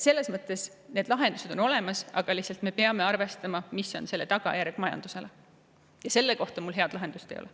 Selles mõttes on lahendused olemas, aga me peame arvestama sellega, mis on selle tagajärg majandusele, ja selle kohta mul head lahendust ei ole.